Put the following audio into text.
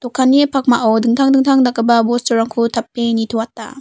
dokanni pakmao dingtang dingtang dakgipa bosturangko tape nitoata.